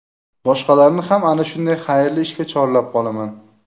Boshqalarni ham ana shunday xayrli ishga chorlab qolaman”.